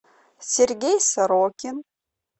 сергей сорокин